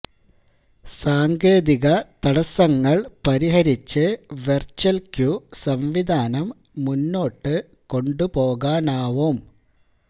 സാങ്കേതിക തടസങ്ങൾ പരിഹരിച്ച് വെർച്വൽ ക്യു സംവിധാനം മുന്നോട്ട് കൊണ്ടുപോകാനാവും